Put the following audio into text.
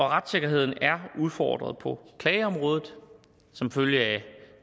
retssikkerheden er udfordret på klageområdet som følge af